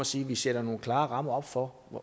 sige at vi sætter nogle klare rammer op for